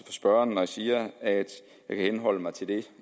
spørgeren når jeg siger at jeg kan henholde mig til det